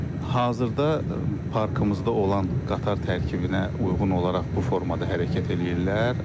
Hazırda parkımızda olan qatar tərkibinə uyğun olaraq bu formada hərəkət eləyirlər.